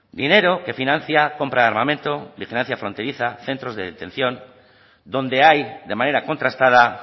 dinero que financia compra de armamento vigilancia fronteriza centros de detención donde hay de manera contrastada